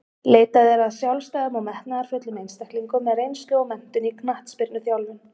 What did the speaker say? Leitað er að sjálfstæðum og metnaðarfullum einstaklingum með reynslu og menntun í knattspyrnuþjálfun.